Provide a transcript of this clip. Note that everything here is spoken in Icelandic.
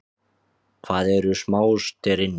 Hvað eru smástirni?